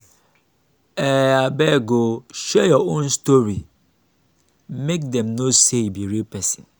um abeg o share your own story make dem know sey you be real pesin.